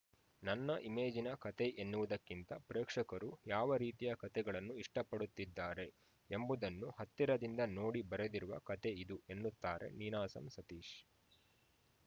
ನನ್ನ ಇಮೇಜಿನ ಕಥೆ ಎನ್ನುವುದಕ್ಕಿಂತ ಪ್ರೇಕ್ಷಕರು ಯಾವ ರೀತಿಯ ಕಥೆಗಳನ್ನು ಇಷ್ಟಪಡುತ್ತಿದ್ದಾರೆ ಎಂಬುದನ್ನು ಹತ್ತಿರದಿಂದ ನೋಡಿ ಬರೆದಿರುವ ಕಥೆ ಇದು ಎನ್ನುತ್ತಾರೆ ನೀನಾಸಂ ಸತೀಶ್‌